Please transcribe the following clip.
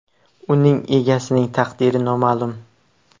Uning egasining taqdiri noma’lum.